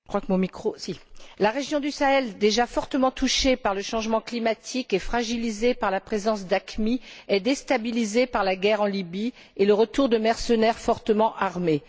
Monsieur le Président, la région du Sahel déjà fortement touchée par le changement climatique et fragilisée par la présence d'AQMI est déstabilisée par la guerre en Libye et le retour de mercenaires fortement armés.